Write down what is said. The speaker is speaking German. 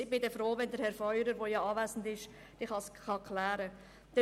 ich bin froh, wenn der anwesende Herr Feurer dies klären kann.